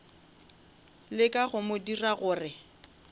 leka go mo dira gore